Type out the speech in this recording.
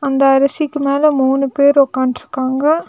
இந்த அரிசிக்கு மேல மூணு பேர் ஒக்கான்ட்ருக்காங்க.